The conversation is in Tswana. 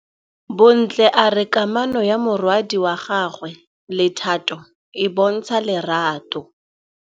Bontle a re kamanô ya morwadi wa gagwe le Thato e bontsha lerato.